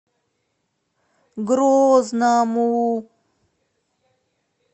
грозному